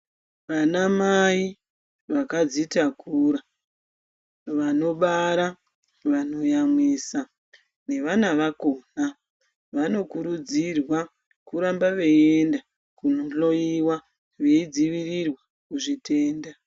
Vanamai vakadzitakura, vanobara, vanoyamwisa nevana vakona vanokurudzirwa kuramba veienda kunohloyiwa veidzivirirwa kuzvitenda.